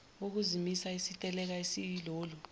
wokusimisa isiteleka esiyilolu